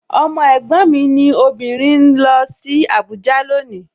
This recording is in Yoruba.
Ọmọ ẹ̀gbọ́n mi obìnrin ń lọ sí Abuja loni